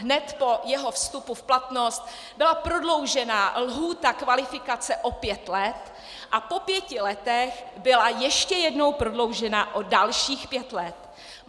Hned po jeho vstupu v platnost byla prodloužena lhůta kvalifikace o pět let a po pěti letech byla ještě jednou prodloužena o dalších pět let.